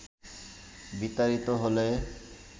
বিতাড়িত হলে